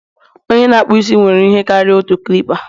onye na-akpụ isi nwere ihe karịrị otu clipa